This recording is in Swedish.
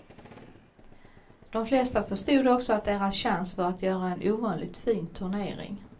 De flesta förstod också att deras chans var att göra en ovanligt fin turnering.